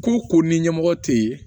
Ko ko ni ɲɛmɔgɔ tɛ yen